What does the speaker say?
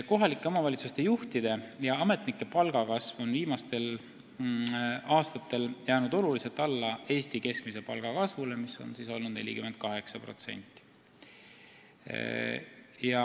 Kohalike omavalitsuste juhtide ja ametnike palga kasv on viimastel aastatel jäänud oluliselt alla Eesti keskmise palga kasvule, mis on olnud 48%.